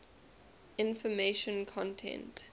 information content